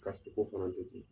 ko fana bɛ ten